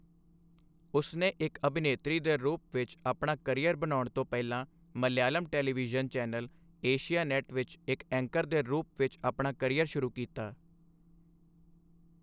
ਉਸਨੇ ਇੱਕ ਅਭਿਨੇਤਰੀ ਦੇ ਰੂਪ ਵਿੱਚ ਆਪਣਾ ਕਰੀਅਰ ਬਣਾਉਣ ਤੋਂ ਪਹਿਲਾਂ ਮਲਿਆਲਮ ਟੈਲੀਵਿਜ਼ਨ ਚੈਨਲ ਏਸ਼ੀਆਨੇਟ ਵਿੱਚ ਇੱਕ ਐਂਕਰ ਦੇ ਰੂਪ ਵਿੱਚ ਆਪਣਾ ਕਰੀਅਰ ਸ਼ੁਰੂ ਕੀਤਾ।